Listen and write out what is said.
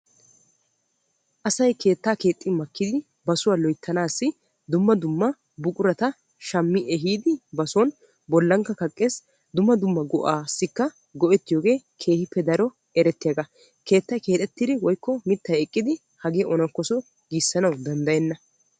Asay keetta keexxi makkiddi ba suwa loytta dumma dumma buqura shammiddi ehiiddi son kaqqees. Keettay keexettin mitta kanchche hagee onnakosso gisanawu danddayenna.